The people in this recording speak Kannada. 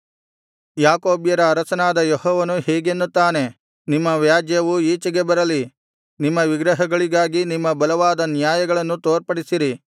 ಯಾಕೋಬ್ಯರ ಅರಸನಾದ ಯೆಹೋವನು ಹೀಗೆನ್ನುತ್ತಾನೆ ನಿಮ್ಮ ವ್ಯಾಜ್ಯವು ಈಚೆಗೆ ಬರಲಿ ನಿಮ್ಮ ವಿಗ್ರಹಗಳಿಗಾಗಿ ನಿಮ್ಮ ಬಲವಾದ ನ್ಯಾಯಗಳನ್ನು ತೋರ್ಪಡಿಸಿರಿ